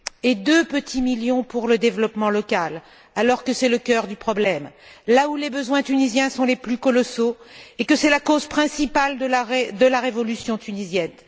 Et deux petits millions sont destinés au développement local, alors que c'est le cœur du problème et là où les besoins tunisiens sont les plus colossaux et que c'est la cause principale de la révolution tunisienne.